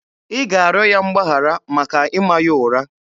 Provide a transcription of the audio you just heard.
Ị ga-arịọ ya mgbaghara maka ịma ya ụra!